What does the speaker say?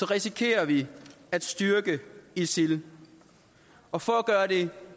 risikerer vi at styrke isil og for at gøre det